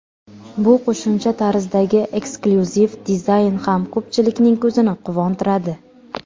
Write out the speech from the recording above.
Bu qo‘shimcha tarzdagi eksklyuziv dizayn ham ko‘pchilikning ko‘zini quvontiradi.